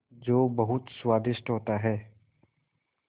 जो बहुत स्वादिष्ट होता है